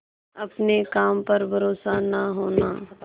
अपने काम पर भरोसा न होना